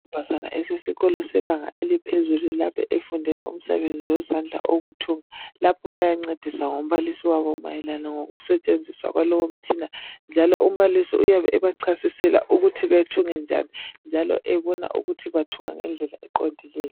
Isikolo sebanga eliphezulu efundelwa imisebenzi yezandla okuthunga lapho bayancediswa ngumbalisi wabo mayelana ngokusetshenziswa kwalowo mutshina njalo umbalisi uyabe bachasisela ukuthi bathunge njani njalo ebona ukuthi bathunga ngendlela eqondileyo.